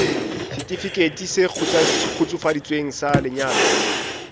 setifikeiti se kgutsufaditsweng sa lenyalo